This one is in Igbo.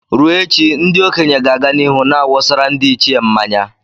Ruo echi, ndị okenye ga-aga n'ihu na-awụsara ndi ichie nmanya.